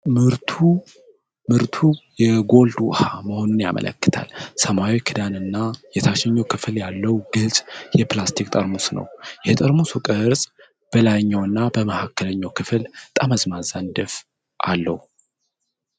ምርቱ የጎልድ ውሃ መሆኑን ያመለክታል. ሰማያዊ ክዳን እና የታችኛው ክፍል ያለው ግልጽ የፕላስቲክ ጠርሙስ ነው። ። የጠርሙሱ ቅርፅ በላይኛውና መሃከለኛ ክፍል ጠመዝማዛ ንድፍ አለው።